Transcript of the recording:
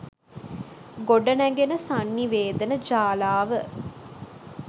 ගොඩනැඟෙන සන්නිවේදන ජාලාව